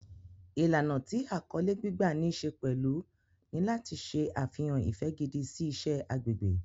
Ìlànà tí àkọlé gbígbà ní ṣe pẹ̀lú ni láti ṣe àfihàn ìfẹ́ gidi sí iṣẹ́ agbègbè.